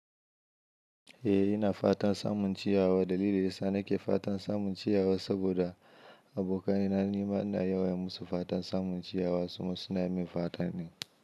Eh ina fatan samun ciyawa. Dalili da yasa nake fatan samun ciyawa saboda abokaina nima ina yawan musu fatan samun ciyawa su kuma suna min fata ne.